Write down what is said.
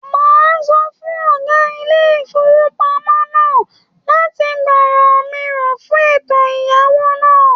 Màá sọ fún ọ̀gá ilé ìfowópamọ́ náà láti gbọ̀rọ̀ mi rò fún ètò ẹ̀yáwó náà